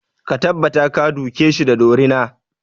Ka tabbata ka duke shi da dorina!